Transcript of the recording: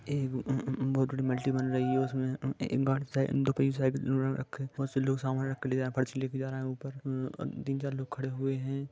यह एक बहुत बड़ी बिल्डिग हे- हो रही है रह डोडी कही लोग है अस लेके जहा रब है तीन चार लोग खड़े हुए है।